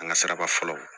An ka siraba fɔlɔ